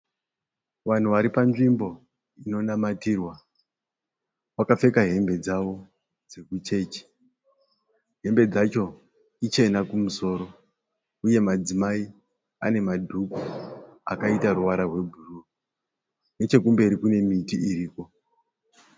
Vanhu vari panzvimbo inonamatirwa. Vakapfeka hembe dzavo dzekuchechi. Hembe dzacho ichena kumusoro uye madzimai ane madhuku akaita ruvara rwebhuruu. Nechekumberi kune miti iriko.